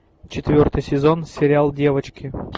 четвертый сезон сериал девочки